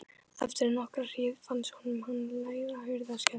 Eftir enn nokkra hríð fannst honum hann heyra hurðarskell.